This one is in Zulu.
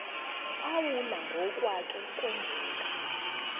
phawula ngokwake kwenzeka